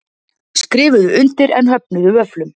Skrifuðu undir en höfnuðu vöfflum